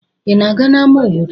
Ị na-aga n'ámá obodo?